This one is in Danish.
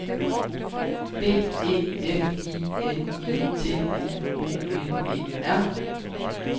D E F I N I T I O N E R